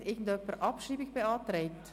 Hat jemand eine Abschreibung beantragt?